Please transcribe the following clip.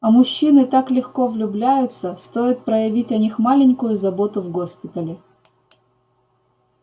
а мужчины так легко влюбляются стоит проявить о них маленькую заботу в госпитале